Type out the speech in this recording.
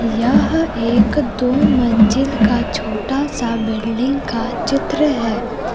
यह एक दो मंजिल का छोटा सा बिल्डिंग का चित्र है।